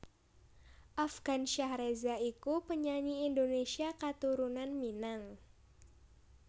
Afgansyah Reza iku penyanyi Indonésia katurunan Minang